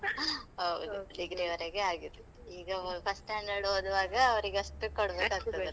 ಹೌದು, degree ವರೆಗೆ ಆಗಿದೆ, ಈಗ first standard ಓದುವಾಗ ಅವರಿಗಷ್ಟು ಕೊಡ್ಬೇಕಾಗ್ತದೆ ನಾವು